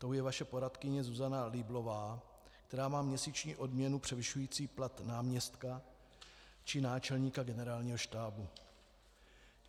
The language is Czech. Tou je vaše poradkyně Zuzana Lieblová, která má měsíční odměnu převyšující plat náměstka či náčelníka Generálního štábu.